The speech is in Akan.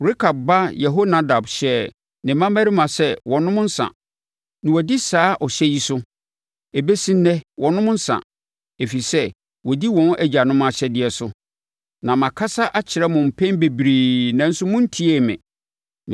‘Rekab ba Yehonadab hyɛɛ ne mmammarima sɛ wɔnnom nsã, na wɔadi saa ɔhyɛ yi so. Ɛbɛsi ɛnnɛ wɔnnom nsã, ɛfiri sɛ wɔdi wɔn agyanom ahyɛdeɛ so. Na makasa akyerɛ mo mpɛn bebree, nanso montiee me.